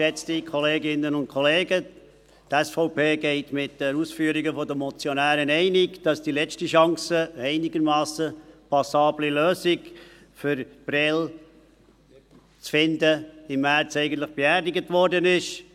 Die SVP geht mit den Ausführungen der Motionäre einig, wonach die letzte Chance, eine einigermassen passable Lösung für Prêles zu finden, im März eigentlich beerdigt worden ist.